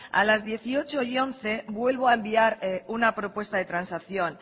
a las dieciocho once vuelvo a enviar una propuesta de transacción